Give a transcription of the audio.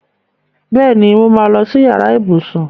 Bẹẹni, mo máa lọ si yàrá ibùsùn